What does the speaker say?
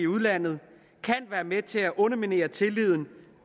udlandet kan være med til at underminere tilliden